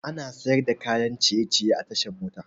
Ana siyar da kayan ciye ciye a tashar mota